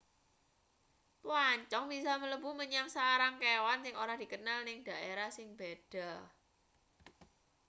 plancong bisa mlebu menyang sarang kewan sing ora dikenal ning daerah sing beda